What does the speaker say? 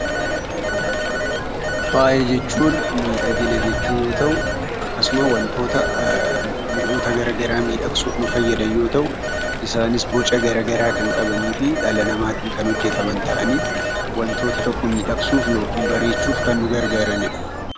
Faaya jechuun miidhagina jechuu yoo ta'u, akkasumas wantoota garaagaraa miidhagsuuf nu fayyadan yoo ta'u, isaanis boca garaagaraa kan qaban dhala namaatiin kan hojjataman ta'anii wantoota tokko miidhagsuuf yookaan bareechuuf kan nu gargaaranidha.